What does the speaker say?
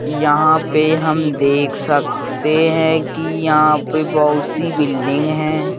यहाँ पे हम देख सकते हैं कि यहाँ पे बहुत सी बिल्डिंग हैं।